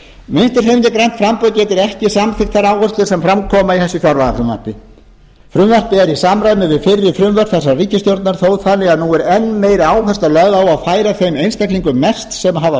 getur ekki samþykkt þær áherslur sem fram koma í þessu fjárlagafrumvarpi frumvarpið er í samræmi við fyrri frumvörp þessarar ríkisstjórnar þó þannig að nú er enn meiri áhersla lögð á að færa þeim einstaklingum mest sem hafa